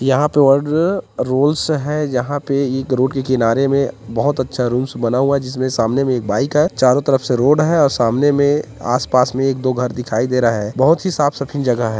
यहाँ पर ऑर्ड रोल्स है जहाँ पे एक रोड के किनारे में बहोत अच्छा रूम्स बना हुआ है जिसके सामने में एक बाइक है चारों तरफ से रोड है और सामने में आसपास में एक दो घर दिखाई दे रहा है बोहोत ही साफ -सफी जगह हैं।